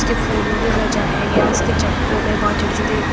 उसके फूलों से सजाया गया उसके चक्कों में बहुत छोटे-छोटे--